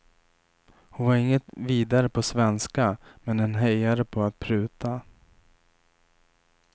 Hon var inget vidare på svenska men en hejare på att pruta.